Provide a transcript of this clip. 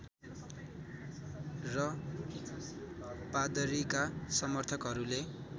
र पादरीका समर्थकहरूले